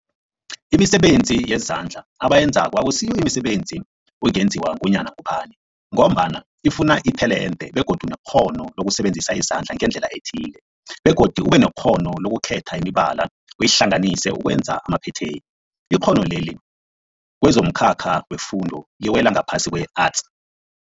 Imisebenzi yezandla abayenzako akusiyo imisebenzi ungenziwa ngunyana ngubani mgombana ifuna itelente begodu nekghono lokusebenzisa izandla ngendlela ethile, begodu ubenekghono lokukhetha imibala uyihlanganise ukwenza amaphetheni. Ikghono leli kwezomkhakha wefundo liwela ngaphasi kwe-Arts.